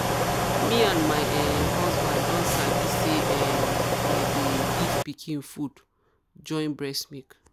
me and my um husband don sabi say um them dey um give pikin food join breast milk.